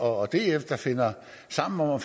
og df der finder sammen om at